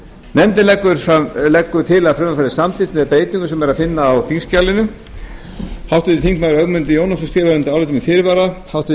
nefndin leggur til að frumvarpið verði samþykkt með eftirfarandi breytingum sem er að finna á þingskjalinu háttvirtur þingmaður ögmundur jónasson skrifar undir álitið með fyrirvara háttvirtir